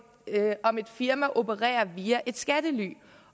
firma opererer via et skattely